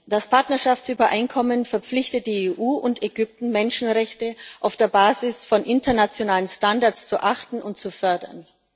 Das Partnerschaftsübereinkommen verpflichtet die EU und Ägypten, Menschenrechte auf der Basis von internationalen Standards zu achten und zu fördern.